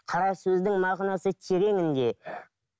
қара сөздің мағынасы тереңінде